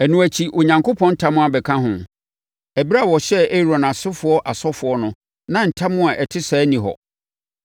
Ɛno akyi, Onyankopɔn ntam abɛka ho. Ɛberɛ a ɔhyɛɛ Aaron asefoɔ asɔfoɔ no na ntam a ɛte saa nni hɔ.